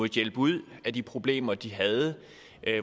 hjælpe ud af de problemer de havde